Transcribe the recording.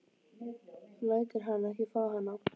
Þú lætur hann ekki fá hana!